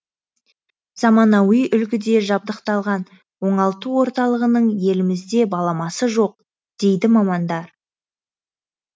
заманауи үлгіде жабдықталған оңалту орталығының елімізде баламасы жоқ дейді мамандар